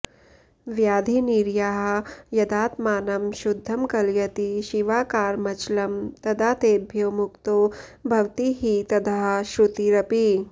व्याधिनिरयाः यदात्मानं शुद्धं कलयति शिवाकारमचलम् तदा तेभ्यो मुक्तो भवति हि तदाह श्रुतिरपि